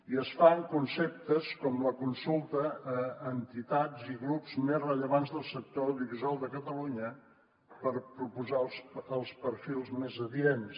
i es fa en conceptes com la consulta a entitats i grups més rellevants del sector audiovisual de catalunya per proposar els perfils més adients